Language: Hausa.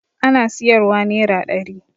Ana siyarwa nera ɗari